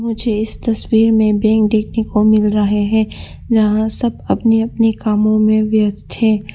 मुझे इस तस्वीर में बैंक देखने को मिल रहे हैं जहां सब अपने अपने कामों में व्यस्त हैं।